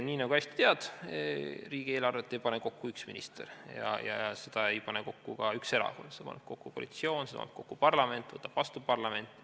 Nii nagu sa hästi tead, riigieelarvet ei pane kokku üks minister ja seda ei pane kokku ka üks erakond, seda paneb kokku koalitsioon, seda paneb kokku parlament, võtab ka vastu parlament.